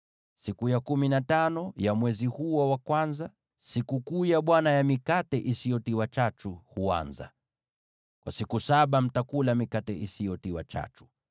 Siku ya kumi na tano ya mwezi huo wa kwanza, Sikukuu ya Bwana ya Mikate Isiyotiwa Chachu huanza; kwa siku saba, mtakula mikate isiyotiwa chachu.